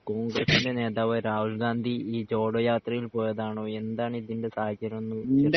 കോൺഗ്രസിൻ്റെ നേതാവ് രാഹുൽ ഗാന്ധി ഈ ജോടോ യാത്രയിൽ പോയതാണോ എന്താണ് ഇതിൻ്റെ സാഹചര്യം എന്ന്